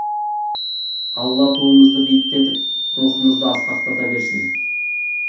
алла туымызды биіктетіп рухымызды асқақтата берсін